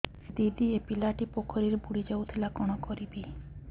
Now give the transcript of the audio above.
ଦିଦି ଏ ପିଲାଟି ପୋଖରୀରେ ବୁଡ଼ି ଯାଉଥିଲା କଣ କରିବି